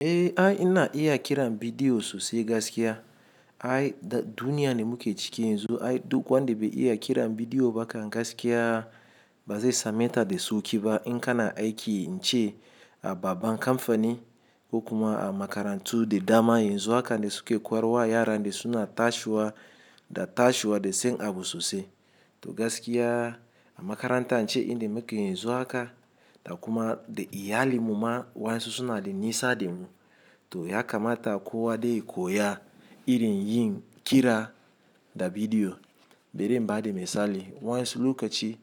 Eh, ai na iya kiran bidiyo sosai gaskiya. Ai da duniya ne muke ciki yanzu. Ai duk wanda bai iya kiran bidiyo ba kan gaskiya ba zai same ta da sauƙi ba. In kana aiki ce a babban kamfani ko kuma a makarantu da dama, yanzu haka ne suke koyarwa. Yara suna tashiwa da tashiwa da sai abu sosai. To gaskiya a makaranta ce inda muke yanzu haka da kuma da iyalin muma waya sosuna da nisa da mu. To ya kamata kowa dai koya irin yin kira da bidiyo. Bere bada misali wayansu lokaci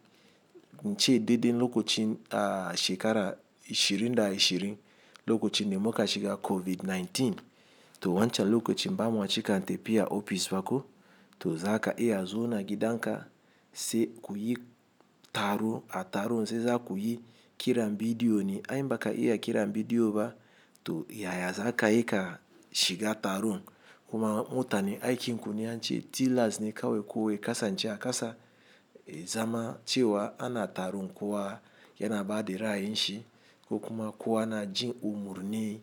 ce dade lokacin a shekara 2020, lokacin da muka shiga COVID-19. To wancan lokacin ba ma ci kan tafi a ofis ba ko to za ka iya zuwa gidan ka sai kuyi taro. A taron sai za ku yi kiran bidiyo ne. Ai baka iya kiran bidiyo ba to yaya za ka iya shiga taron? Kuma mutane aikin ku ne yance tillers ne kawai. Kowa ya kasance a kasa zama cewa ana taron kuwa yana ba da rai shi. Ko kuma kowa na jin umarni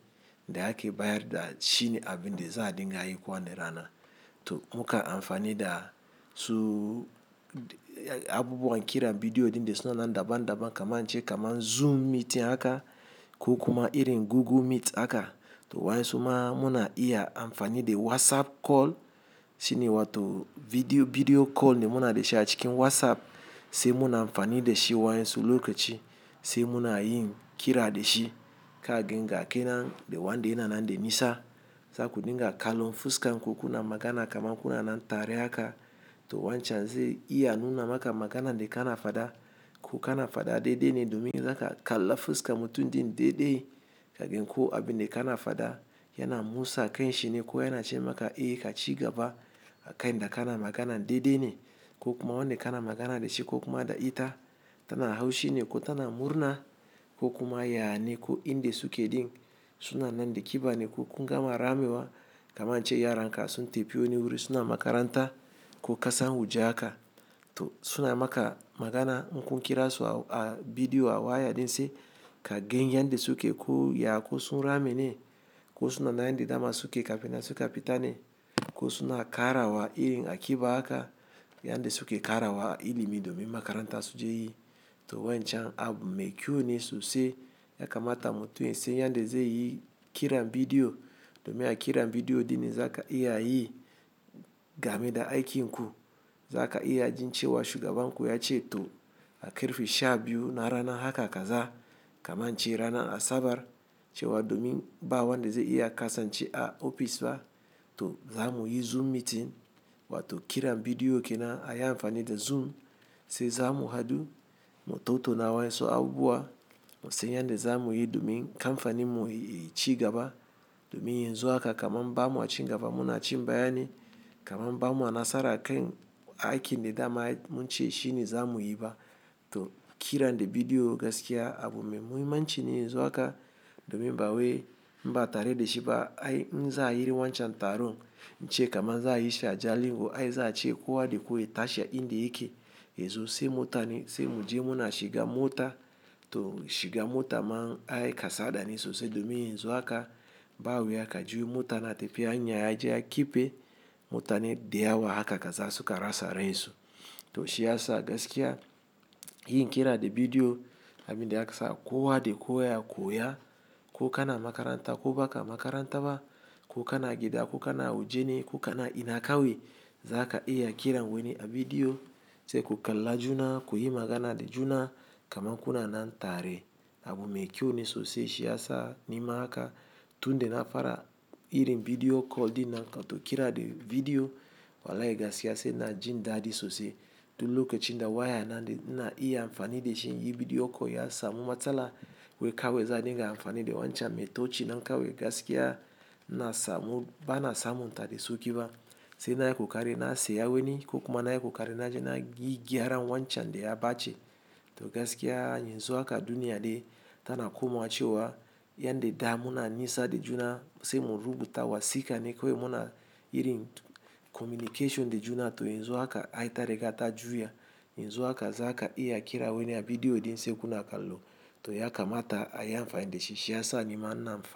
da ake bayar da shi ne abin da za a dinga yi kuwa na rana. To muka amfani da su abubuwan kiran bidiyo ɗinn suna nan daban daban kaman ce kaman Zoom Meeting haka ko kuma irin Google Meet haka. To waya su ma muna iya amfani da WhatsApp Call shine wato Video Call de muna dashi a cikin WhatsApp. Sai muna amfani da shi wayansu lokaci sai muna yin kira da shi. Kagin ga kenan da wanda yana nan da nisa za ku dinga kallon fuska. Ko kuna magana kaman kuna nan tare haka. To wancan zai iya nuna maka magana de kana fada. Ko kana fada daidai ne domin za ka kalla fuska mutum din daidai. Kaga in ko abin de kana fada yana musa kain shi ne? Ko yana ce maka eh ka ci gaba a kain da kana magana daidai ne? Ko kuma wanda kana magana da shi ko kuma da ita tana haushi ne ko tana murna? Ko kuma ya ne ko inde suke ɗin suna nan de kiba ne? Ko kun gama ramewa kaman ce yaranka sun tafi wani wuri suna makaranta ko ƙasa waje haka. To suna maka magana in kun kira su a bidiyo a waya din sai kagin yanda suke koya ko sun rame ne ko suna nan yanda dama suke kafin su kafita ne? Ko suna ƙarawa irin a ƙiba haka yanda suke ƙarawa a ilimi domin makaranta su je yi. To wancan abu mai kyau ne sosai. Ya kamata mutum sai yanda zai yi kiran bidiyo domin a kira bidiyo ɗinne zaka iya yi game da aikin ku. Za ka iya jin cewa shugaban ku ya ce to a karfe 12 na rana haka kaza kaman ce rana Asabar cewa domin ba wanda zai iya kasance a ofis ba to za mu yi Zoom Meeting wato kiran bidiyo kenan. A yi amfani da Zoom sai za mu haɗu mu tauto na wayan su abubuwa. Sai yanda za mu yi domin kamfanin mu ya ci gaba. Domin yanzu haka kaman ba mu a ci gaba muna ci bayani kaman ba mu a nasara kain aikin de dama mun ce shi ne za mu yi ba. To kiran de bidiyo gaskiya abu mai muhimmanci ne yanzu haka domin ba waye mbata rade shi ba. Ai inza ayi irin wancan taron ce kaman za a yi shi a jalingo. Ai za a ce kowa dai ku yi tashi a inda yake yanzu sai mota ne sai mu je muna shiga mota. To shiga mota man ai kasada ne sosai domin yanzu haka ba wuya ka jiyo mota na tafi hanya ya jiya ki pe mota ne da yawa haka kaza suka rasa rai su. To shi ya sa gaskiya yin kira da bidiyo abin da ya kasa kowa dai kowa ya koya. Ko kana makaranta ko ba ka makaranta ba ko kana gida ko kana waje ne ko kana ina kawai za ka iya kiran wani a bidiyo sai ku kalla juna ku yi magana da juna kaman kuna nan tare. Abu mai kyau ne sosai. Shi ya sa nima haka tun da na fara irin Video Call ɗin nan wa to kira da bidiyo. Wallai gaskiya sai ina jin daɗi sosai. Tun lokacin da waya na na iya amfani da shi yin Video Call ya samu matsala wai kawai za dinga amfani da wancan. Me tocina kawai gaskiya na samu ba na samun ta da suke ba. Sai na yi kokari na saya wani ko kuma na yi kokari na je na yi gyara wancan de ya ɓace. To gaskiya yanzu haka duniya dai tana komawa cewa yanda damu na nisa da juna sai mu rubuta wasika ne kawai muna irin communication da juna. To yanzu haka ai tare da ta juya yanzu haka za ka iya kira wani a bidiyo dean sai kuna kallo. To ya kamata a yi amfani da shi. Shi ya sa nima na amfani.